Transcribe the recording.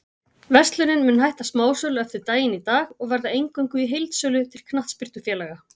Verslunin mun hætta smásölu eftir daginn í dag og verða eingöngu í heildsölu til knattspyrnufélaga.